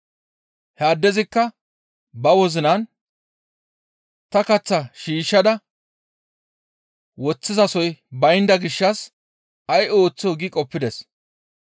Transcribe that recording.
He addezikka ba wozinan, ‹Ta kaththaa shiishshada woththizasoy baynda gishshas ay ooththoo?› gi qoppides.